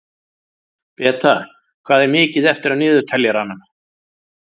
Beta, hvað er mikið eftir af niðurteljaranum?